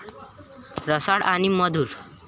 रसाळ आणि मधुर।